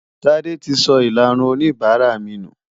Tádé ti sọ ìlarun oníbàárà mi nù.